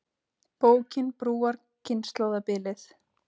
Bókin brúar kynslóðabilið